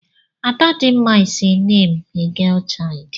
Adadimma is a name a girl child.